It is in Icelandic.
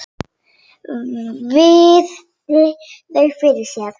Virti þau fyrir sér.